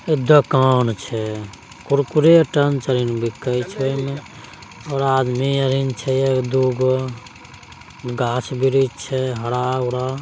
एक दुकान छै कुरकुरे टंच आरी बीके छै इमे और आदमी अरिण छै एक दुगो गाछ वृक्ष छै हरा-भरा।